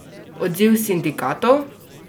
Odziv sindikatov?